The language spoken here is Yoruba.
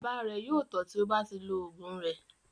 Bàbá rẹ̀ yóò tọ́ tí ó bá ti lo oògùn rẹ̀.